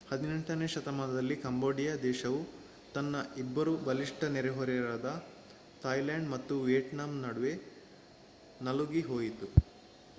18ನೇ ಶತಮಾನದಲ್ಲಿ ಕಾಂಬೋಡಿಯ ದೇಶವು ತನ್ನ ಇಬ್ಬರು ಬಲಿಷ್ಟ ನೆರೆಹೊರೆಯವರಾದ ಥಾಯಿಲ್ಯಾಂಡ್ ಮತ್ತು ವಿಯತ್ನಾಮ್ ನಡುವೆ ನಲುಗಿ ಹೋಯಿತು